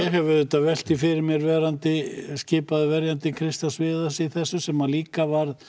hef auðvitað velt því fyrir mér verandi skipaður verjandi Kristjáns Viðars í þessu sem var líka